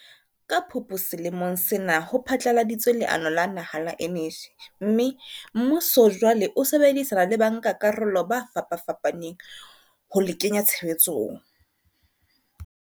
Ka Phupu selemong sena ho phatlaladitswe leano la naha la eneji mme, mmuso jwale o sebedisana le bankakarolo ba fapafapaneng ho le kenya tshebetsong.